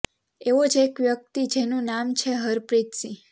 એવો જ એક વ્યક્તિ છે જેનુ નામ છે હરપ્રીત સિંહ